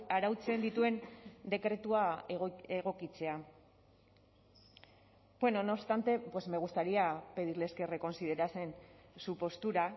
arautzen dituen dekretua egokitzea bueno no obstante pues me gustaría pedirles que reconsiderasen su postura